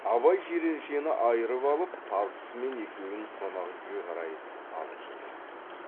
абай жиреншені айырып алып тазысымен екеуін қонақ үйге қарай алып жүрген